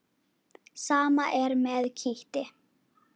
Sama er með kítti.